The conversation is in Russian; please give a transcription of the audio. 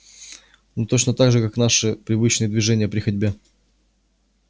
ну точно так же как наши привычные движения при ходьбе